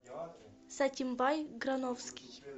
сатимбай грановский